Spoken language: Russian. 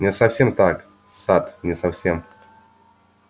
не совсем так сатт не совсем